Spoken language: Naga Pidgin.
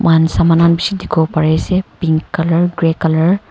moikhan saman khan bishi dikhi wo pari ase pink colour grey colour .